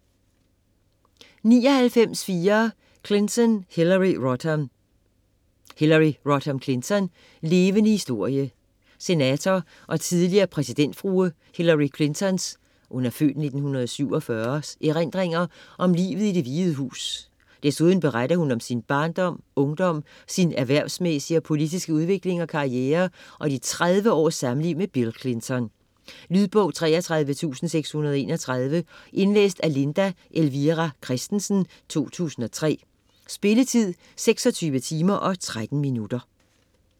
99.4 Clinton, Hillary Rodham Clinton, Hillary Rodham: Levende historie Senator og tidligere præsidentfrue Hillary Clinton's (f. 1947) erindringer om livet i Det Hvide Hus. Desuden beretter hun om sin barndom, ungdom, sin erhversmæssige og politiske udvikling og karriere og de 30 års samliv med Bill Clinton. Lydbog 33631 Indlæst af Linda Elvira Kristensen, 2003. Spilletid: 26 timer, 13 minutter.